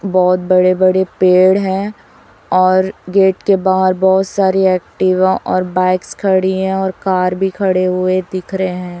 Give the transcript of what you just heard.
बहुत बड़े बड़े पेड़ हैं और गेट के बाहर बहुत सारी एक्टिवा और बाइक्स खड़ी हैं और कार भी खड़े हुए दिख रहे हैं।